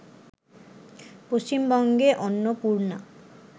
পশ্চিমবঙ্গে অন্নপূর্ণা